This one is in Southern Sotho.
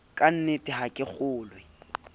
ka nnete ha ke kgolwe